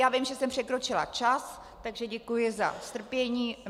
Já vím, že jsem překročila čas, takže děkuji za strpění.